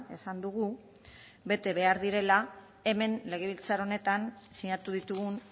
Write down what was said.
esan dugu bete behar direla hemen legebiltzar honetan sinatu ditugun